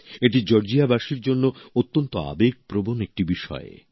এটি জর্জিয়াবাসীর জন্য অত্যন্ত আবেগপ্রবণ একটি বিষয়